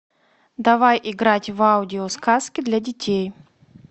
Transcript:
давай играть в аудиосказки для детей